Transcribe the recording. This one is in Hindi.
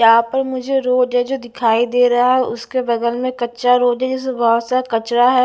यहां पर मुझे रोड है जो दिखाई दे रहा है उसके बगल में कच्चा रोड है जिसपे बहोत सा कचरा है।